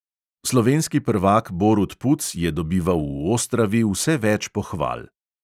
Slovenski prvak borut puc je dobival v ostravi vse več pohval.